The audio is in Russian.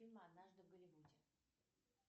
фильм однажды в голливуде